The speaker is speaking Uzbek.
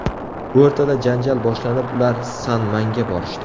O‘rtada janjal boshlanib, ular san-manga borishdi.